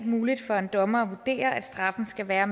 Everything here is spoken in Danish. muligt for en dommer at vurdere at straffen skal være